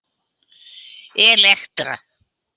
Elektra